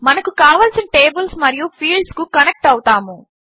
మనము కావలసిన టేబుల్స్ మరియు ఫీల్డ్స్ కు కనెక్ట్ అవుతాము